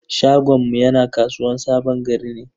Shagonmu yana kasuwan sabon gari ne.